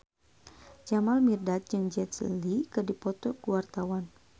Jamal Mirdad jeung Jet Li keur dipoto ku wartawan